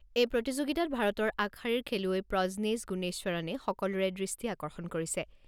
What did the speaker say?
এই প্ৰতিযোগিতাত ভাৰতৰ আগশাৰীৰ খেলুৱৈ প্ৰজনেছ গুণেশ্বৰণে সকলোৰে দৃষ্টি আকৰ্ষণ কৰিছে।